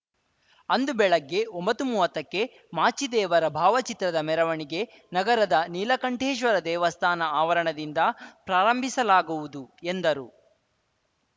ಅಂದು ಬೆಳಗ್ಗೆ ಒಂಬತ್ತುಮುವತ್ತಕ್ಕೆ ಮಾಚಿದೇವರ ಭಾವಚಿತ್ರದ ಮೆರವಣಿಗೆ ನಗರದ ನೀಲಕಂಠೇಶ್ವರ ದೇವಸ್ಥಾನ ಆವರಣದಿಂದ ಪ್ರಾರಂಭಿಸಲಾಗುವುದು ಎಂದರು